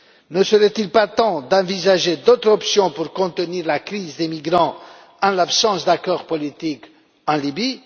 Ne serait il pas temps d'envisager d'autres options pour contenir la crise des migrants en l'absence d'accord politique en Libye?